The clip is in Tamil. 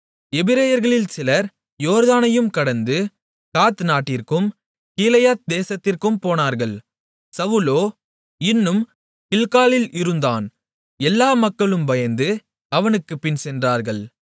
எபிரெயர்களில் சிலர் யோர்தானையும் கடந்து காத் நாட்டிற்கும் கீலேயாத் தேசத்திற்கும் போனார்கள் சவுலோ இன்னும் கில்காலில் இருந்தான் எல்லா மக்களும் பயந்து அவனுக்குப் பின்சென்றார்கள்